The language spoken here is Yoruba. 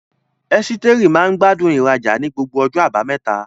Esteri maa gbádùn ìrajà ní gbogbo ọjọ́ Àbámẹ́ta.